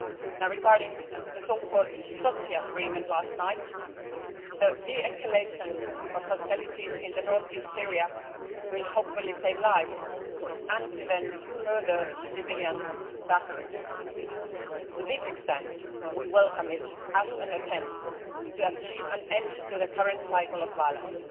Now regarding the so called Sochi agreement last night, the de escalation of hostilities in north east Syria will hopefully save lives, and prevent further civilian suffering. As such, we welcome it as an attempt to achieve an end to the current cycle of violence.